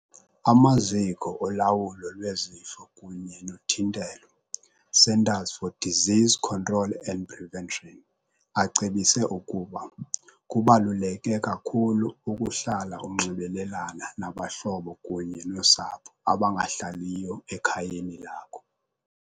Amaziko Olawulo Lwezifo kunye noThintelo, Centers for Disease Control and Prevention, acebise ukuba, "Kubaluleke kakhulu ukuhlala unxibelelana nabahlobo kunye nosapho abangahlaliyo ekhayeni lakho.